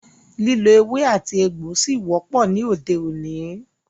Lílo ewé àti egbò ṣí wọ́pọ̀ ní òde òní.